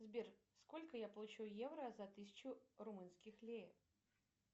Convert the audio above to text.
сбер сколько я получу евро за тысячу румынских лир